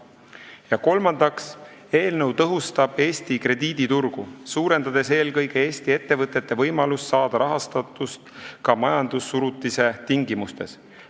Ja kolmandaks, eelnõu tõhustab Eesti krediiditurgu, suurendades eelkõige Eesti ettevõtete võimalust saada rahastust ka majandussurutise tingimustes.